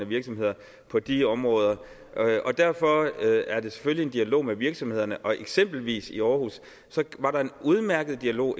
virksomheder på de områder derfor er der selvfølgelig en dialog med virksomhederne og eksempelvis i aarhus var der en udmærket dialog